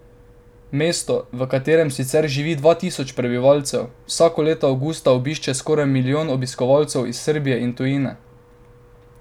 Mesto, v katerem sicer živi dva tisoč prebivalcev, vsako leto avgusta obišče skoraj milijon obiskovalcev iz Srbije in tujine.